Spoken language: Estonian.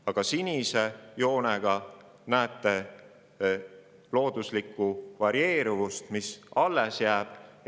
Aga sinise joonega näete looduslikku varieeruvust, mis jääb alles.